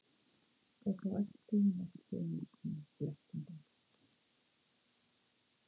Og þá ætti hún ekki einu sinni blekkinguna.